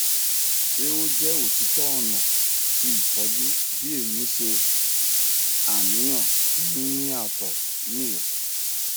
ṣe o jẹ otitọ ọna ti itọju bi emi ṣe aniyan ti nini ato nil